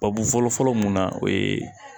Babu fɔlɔfɔlɔ mun na o ye